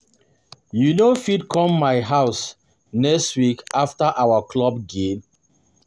You go fit come my house next week after our club gane